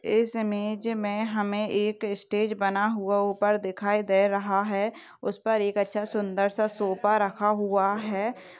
इस इमेज में हमे एक स्टेज बना हुआ ऊपर दिखाई दे रहा है उस पर एक अच्छा सुंदर सा सोफा रखा हुआ है।